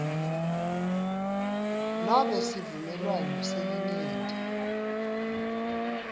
nobe sivumelwano selinyenti